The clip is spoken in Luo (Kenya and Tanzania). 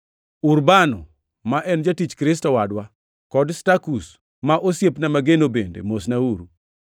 Urbano, ma en jatich Kristo wadwa, kod Stakus ma osiepna mageno bende mosnauru.